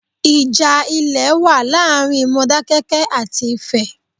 Ìjà ilè wa láàrin Modákẹ́kẹ́ àti Ifẹ̀